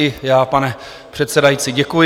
I já, pane předsedající, děkuji.